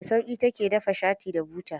Da sauƙi ta ke dafa shati da buta.